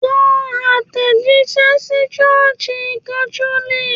Ko atejise sí sọ́ọ̀sì catholic